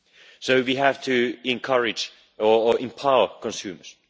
So we have to encourage or empower consumers.